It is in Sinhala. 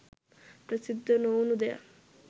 ප්‍රසිද්ධ නොවුණු දෙයක්